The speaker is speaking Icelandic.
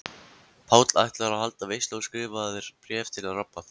Páll ætlar að halda veislu og skrifar bréf til Rabba.